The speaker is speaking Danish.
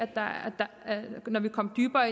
når vi komme dybere